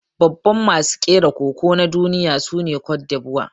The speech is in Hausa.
Babban masu kera Koko na duniya sune Cote D'Ivoire.